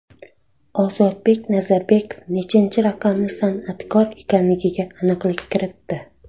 Ozodbek Nazarbekov nechanchi raqamli san’atkor ekanligiga aniqlik kiritdi.